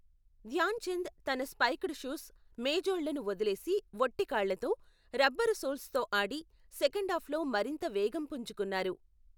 ధ్యాన్ చంద్ తన spiked shoes, మేజోళ్ళను వదిలేసి వట్టి కాళ్ళతో, రబ్బరు సోల్స్తో ఆడి, సెకండాఫ్లో మరింత వేగం పుంజుకున్నారు.